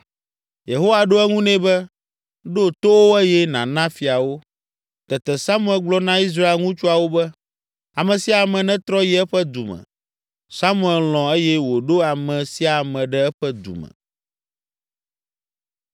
Yehowa ɖo eŋu nɛ be, “Ɖo to wo eye nàna fia wo.” Tete Samuel gblɔ na Israel ŋutsuawo be, “Ame sia ame netrɔ yi eƒe du me.” Samuel lɔ̃ eye wòɖo ame sia ame ɖe eƒe du me.